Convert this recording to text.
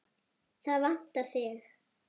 Það vantar þig.